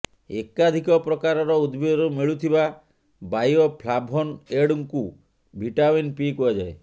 ଏକାଧିକ ପ୍ରକାରର ଉଦ୍ଭିଦରୁ ମିଳୁଥିବା ବାୟୋଫ୍ଲାଭୋନଏଡ୍କୁ ଭିଟାମିନ୍ ପି କୁହାଯାଏ